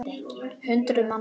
Hundruð manna.